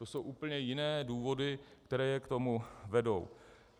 To jsou úplně jiné důvody, které je k tomu vedou.